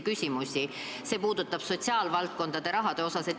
Seal esitati talle ka küsimusi sotsiaalvaldkonna rahajaotuse kohta.